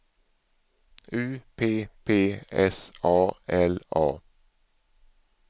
U P P S A L A